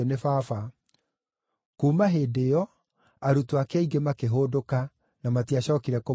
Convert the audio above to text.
Kuuma hĩndĩ ĩyo, arutwo ake aingĩ makĩhũndũka, na matiacookire kũmũrũmĩrĩra.